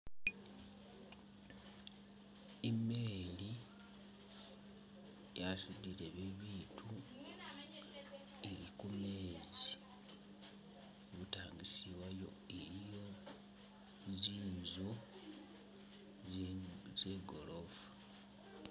I’meli yasudile bibitu ili kumeze ibutangisi wayo iliyo zinzu zigorofa.